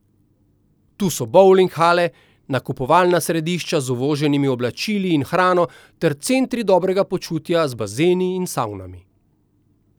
Tu so bovling hale, nakupovalna središča z uvoženimi oblačili in hrano ter centri dobrega počutja z bazeni in savnami.